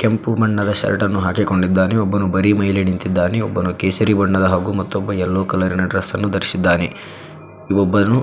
ಕೆಂಪು ಬಣ್ಣದ ಶರ್ಟ್ ನ್ನು ಹಾಕಿಕೊಂಡಿದ್ದಾನೆ ಒಬ್ಬನು ಬರೀ ಮೈಯಲ್ಲಿ ನಿಂತಿದ್ದಾನೆ ಒಬ್ಬನು ಕೇಸರಿ ಬಣ್ಣದ ಹಾಗೂ ಮಾತ್ತೊಬ್ಬ ಎಲ್ಲೋ ಕಲರ ಡ್ರೆಸ್ ಅನ್ನು ದರಿಸಿದ್ದಾನೆ ಒಬ್ಬನ್